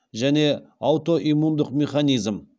және аутоиммундық механизм